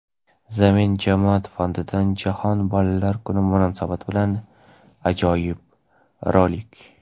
"Zamin" jamoat fondidan Jahon bolalar kuni munosabati bilan ajoyib rolik.